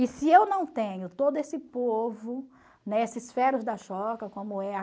E se eu não tenho todo esse povo, né, esses como é a...